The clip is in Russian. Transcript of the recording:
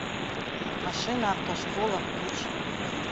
машина автошкола включи